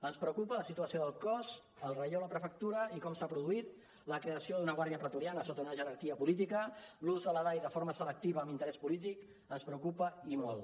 ens preocupa la situació del cos el relleu a la prefectura i com s’ha produït la creació d’una guàrdia pretoriana sota una jerarquia política l’ús de la dai de forma selectiva amb interès polític ens preocupa i molt